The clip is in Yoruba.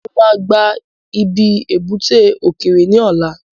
Mo ma gba ibi ebúté òkèerè ní ọ̀la